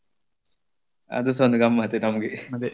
ಅದುಸ ಒಂದು ಗಮ್ಮತ್ತ್ ನಮಗೆ.